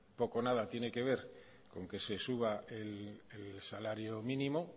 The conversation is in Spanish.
poco nada tiene que ver con que se suba el salario mínimo